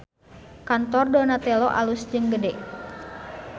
Kantor Donatello alus jeung gede